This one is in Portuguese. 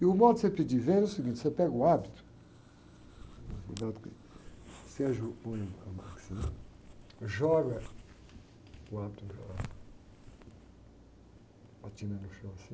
E o modo de você pedir vênia é o seguinte, você pega o hábito, toma cuidado que, você ajoe, põe a batina assim, joga o hábito para lá, batina no chão assim,